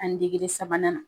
Ani sabanan na.